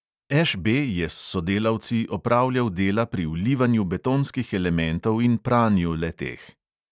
Š B je s sodelavci opravljal dela pri vlivanju betonskih elementov in pranju le-teh.